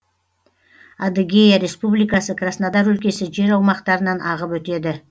адыгея республикасы краснодар өлкесі жер аумақтарынан ағып өтеді